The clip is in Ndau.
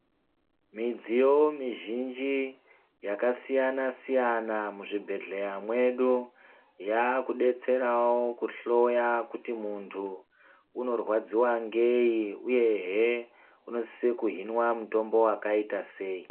Midziyo mizhinji yakasiyana -siyana muzvibhehleya mwedu yakudetserawo kuhloya kuti muntu unorwadziwa ngei uyehe unosisa kuhinwa mutombo wakaita sei.